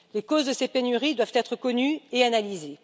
Les causes de ces pénuries doivent être connues et analysées.